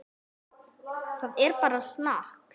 Það er bara snakk.